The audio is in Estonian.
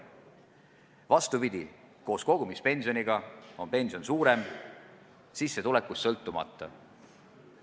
Vastupidi, koos kogumispensioniga on pension suurem, sissetulekust sõltumata.